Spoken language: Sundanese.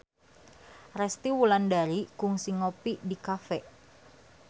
Resty Wulandari kungsi ngopi di cafe